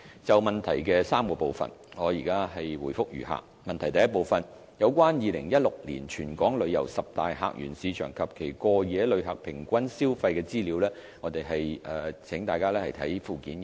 就質詢的3個部分，我現答覆如下：一有關2016年本港旅遊十大客源市場及其過夜旅客平均消費的資料，請參閱附件一。